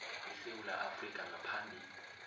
esewula afrika ngaphambi